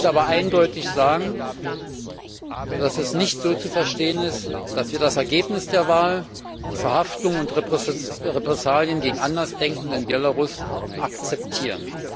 Ich möchte aber eindeutig sagen, dass das nicht so zu verstehen ist, dass wir das Ergebnis der Wahl, die Verhaftungen und die Repressalien gegen Andersdenkende in Belarus akzeptieren.